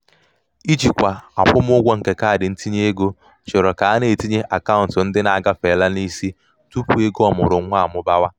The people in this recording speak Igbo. ijikwa akwụmụgwọ nke kaadị ntinyeego chọrọ ka a na-etinye akaụntụ ndị na-agafeela n'isi tupu ego ọmụrụnwa um amụbawa.